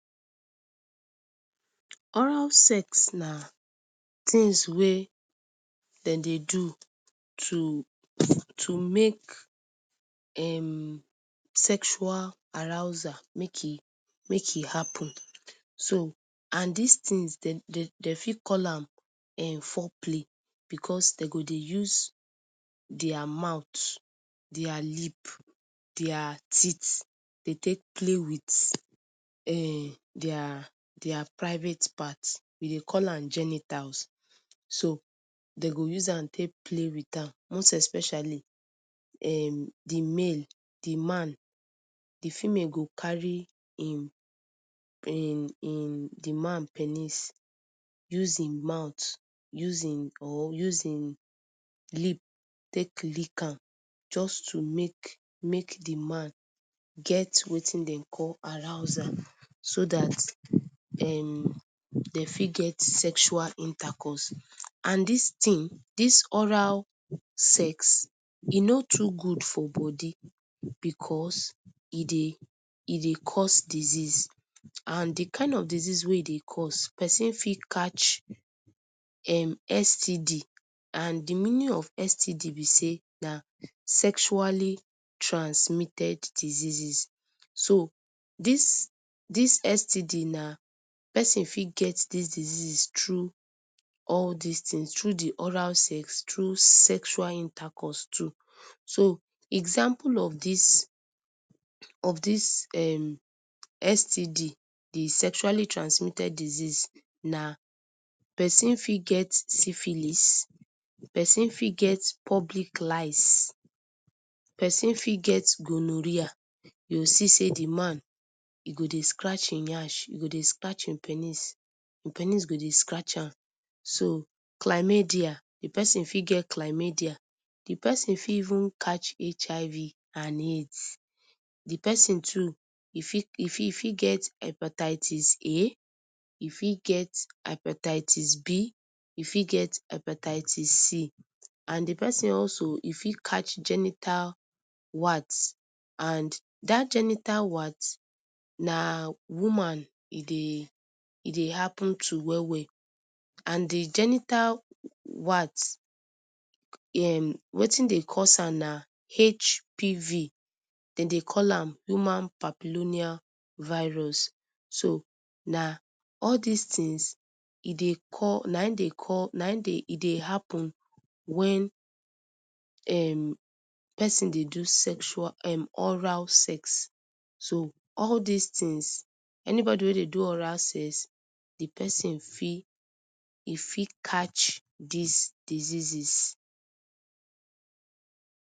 Oral sex na tins wey dem dey do to to make um sexual arousal make e make e happen so and dis tins dem um dem fit call am um foreplay because dem go de use dia mouth, dia lip, dia teeth, dey take play wit um dia dia private part we dey call am genitals, so dem go use am take play wit am most especially um di male, di man, di female go carry im um im di man pennis use im mouth use im or use im lip take lick am just to makemake di man get watin dem dey call arousal so dat um de fit get sexual intercourse and dis tin dis oral sex e no too good for body because, e dey e dey cause diseases and di kain of diseases wey e dey cause pesin fit catch um STD and di meaning of STD be say na sexually transmitted diseases so dis dis STD na, person fit get dis disease through all dis tins through di oral sex, through sexual intercourse too. So example of dis of dis um STD di sexually transmited diseases na pesin fit get Syphilis, pesin fit get pubic lice, pesin fit get Gonorrhea, you go see say di man e go dey scratch him yansh, e go dey scratch im pennis, pennis go dey scratch am so Chlamydia the peson fit get chlamydia di pesin fit even catch HIV and Aids. Di persin too e fit e fit fit get Hepatitis A, e fit get Hepatitis B, e fit get Hepatitis C and di pesin also e fit catch genital watt and dat genital watt na woman e dey e dey happen to well well and di genital watt um watin dey cause am na HPV, dem dey call am Human Papilloniavirus. So na all dis tins e dey call na aim dey call naim dey call na e dey happen wen um persin dey do sexual um oral sex, so all dis tins anybody wey dey do oral sex di pesin fit e fit catch dis diseases.